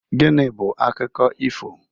Gịnị bụ akụkọ ifo?